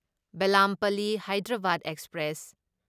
Bellampalli Hyderabad express